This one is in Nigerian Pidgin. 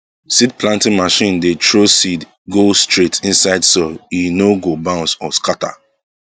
seed planting machine dey throw seed go straight inside soil e no go bounce or scatter